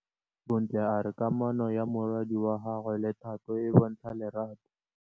Bontle a re kamanô ya morwadi wa gagwe le Thato e bontsha lerato.